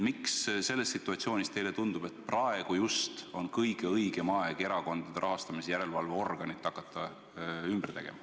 Miks selles situatsioonis teile tundub, et praegu just on kõige õigem aeg erakondade rahastamise järelevalve organit vahetama hakata?